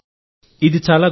ఇది చాలా గొప్పది